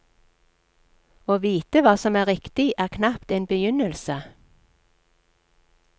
Å vite hva som er riktig er knapt en begynnelse.